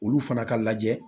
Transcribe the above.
Olu fana ka lajɛ